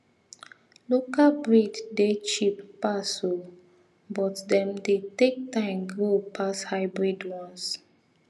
local breed dey cheap pass oo but dem dey take time grow pass hybrid ones